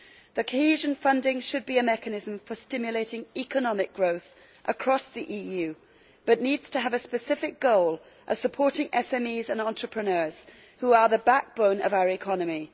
The cohesion funding should be a mechanism for stimulating economic growth across the EU, but needs to have a specific goal as supporting SMEs and entrepreneurs who are the backbone of our economy.